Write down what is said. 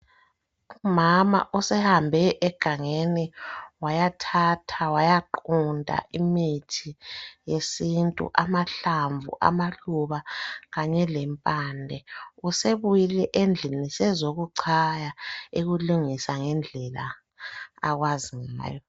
Umama osehambe egangeni wayathatha, wayaqunta imithi yesintu amahlamvu, amaluba kanye lempande. Usebuyile endlini sezokuchaya ekulungisa ngendlela akwazi ngayo.